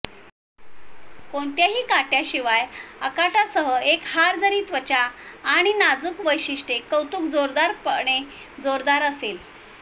कोणतीही काट्याशिवाय अगाटासह एक हार जरी त्वचा आणि नाजूक वैशिष्ट्ये कौतुक जोरदारपणे जोरदार असेल